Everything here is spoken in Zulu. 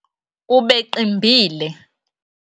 ubeqimbile